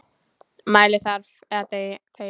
Mæli þarft eða þegi.